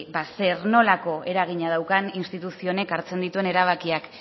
zer nolako eragina daukan instituzio honek hartzen dituen erabakiak